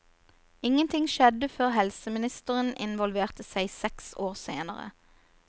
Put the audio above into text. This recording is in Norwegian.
Ingenting skjedde før helseministeren involverte seg seks år senere.